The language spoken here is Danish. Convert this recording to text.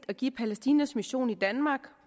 at give palæstinas mission i danmark